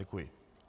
Děkuji.